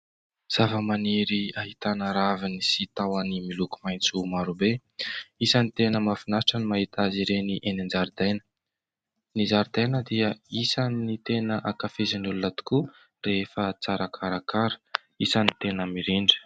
Zava-maniry ahitana raviny sy tahony miloko maitso marobe. Isan'ny tena mahafinaritra ny mahita azy ireny eny an-jaridaina. Ny zaridaina dia isan'ny tena hankafizin'ny olona tokoa rehefa tsara karakara, isan'ny tena mirindra.